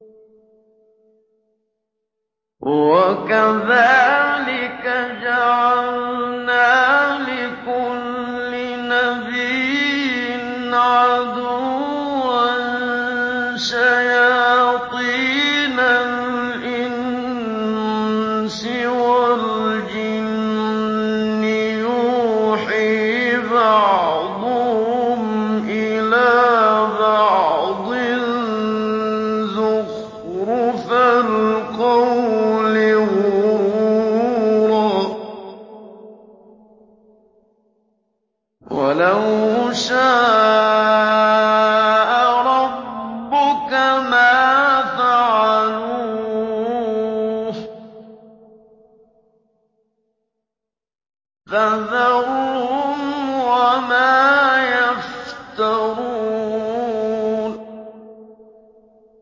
وَكَذَٰلِكَ جَعَلْنَا لِكُلِّ نَبِيٍّ عَدُوًّا شَيَاطِينَ الْإِنسِ وَالْجِنِّ يُوحِي بَعْضُهُمْ إِلَىٰ بَعْضٍ زُخْرُفَ الْقَوْلِ غُرُورًا ۚ وَلَوْ شَاءَ رَبُّكَ مَا فَعَلُوهُ ۖ فَذَرْهُمْ وَمَا يَفْتَرُونَ